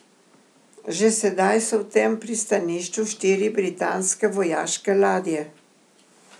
Že sedaj so v tem pristanišču štiri britanske vojaške ladje.